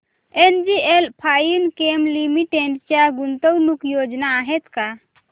NGL Finechem limited च्या गुंतवणूक योजना आहेत का